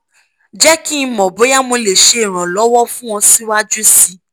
jẹ ki n mọ boya mo le ṣe iranlọwọ fun ọ ọ siwaju sii